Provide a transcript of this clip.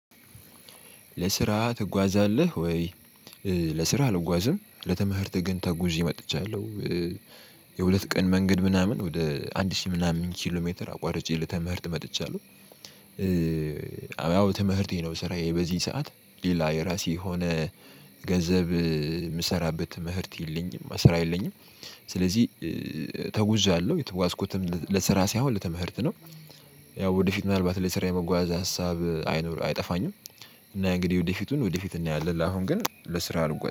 ለስራ ትጓዛለህ ወይ? ለስራ አልጓዝም ለትምህርት ግን ተጉዤ ወጥቻለው። የሁለት ቀን መንገድ ምናምን ወደ አንድ ሺህ ምናምን ኪሎ ሜትር አቋርጬ ለትምህርት መጥቻለሁ። ያው ትምህርቴ ነው ስራዬ በዚህ ሰዓት ሌላ የራሴ የሆነ ገንዘብ ምሰራበት ትምህርት የለኝም ስራ የለኝም። ስለዚህ ተጉዣለሁ የተጓዝኩትም ለስራ ሳይሆን ለትምህርት ነው። ያው ወደፊት ምናልባት ለስራ የመጓዝ ሀሳብ አይኖር አይጠፋኝም። እና እንግዲህ ወደፊቱን ወደፊት እናየዋለን ላሁን ግን ለስራ አልጓዝም